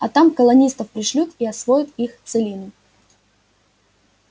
а там колонистов пришлют и освоят их целину